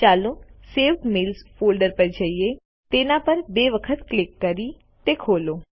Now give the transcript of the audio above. ચાલો saved mails folder પર જઈએ તેના પર બે વખત ક્લિક કરી ખોલો